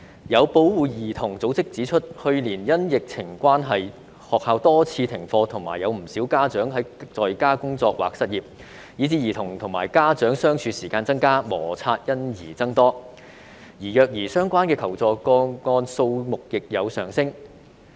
有保護兒童組織指出，去年因疫情關係，學校多次停課及有不少家長在家工作或失業，以致兒童與家長相處時間增加，磨擦因而增多，而虐兒相關的求助個案數目亦有上升。